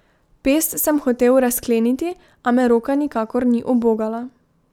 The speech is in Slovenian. Pest sem hotel razkleniti, a me roka nikakor ni ubogala.